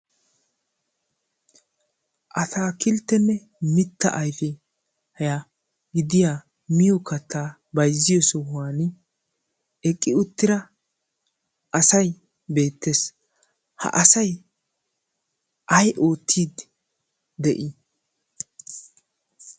ataakilttenne mitta ayfiya gidiya miyo kattaa bayzziyo sohuwan eqqi uttira asay beettees ha asay ay ootid de'ii